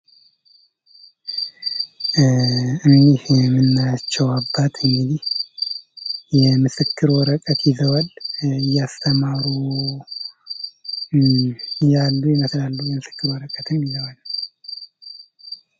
እኒህ የምናያቸው አባት እንግዲህ የምስክር ወረቀት ይዘዋል እያስተማሩ ያሉ ይመስላሉ የምስክር ወረቀት ይዘዋል።